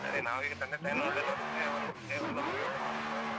ಸರಿ, ನಾವೀಗ ತಂದೆ ತಾಯಿಯನ್ನು ಒಳ್ಳೇ ನೋಡಿದ್ರೆ, ಅವರು, ದೇವರು ನಮ್ಗೆ ಒಳ್ಳೇ ಮಾಡ್ತಾರೆ .